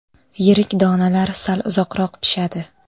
Yirik donalar sal uzoqroq pishadi.